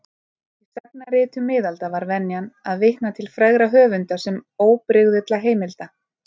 Í sagnaritum miðalda var venjan að vitna til frægra höfunda sem óbrigðulla heimilda.